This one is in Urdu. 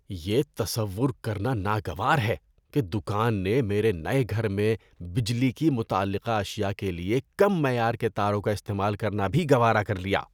یہ تصور کرنا ناگوار ہے کہ دکان نے میرے نئے گھر میں بجلی کی متعلقہ اشیاء کے لیے کم معیار کے تاروں کا استعمال کرنا بھی گوارا کر لیا۔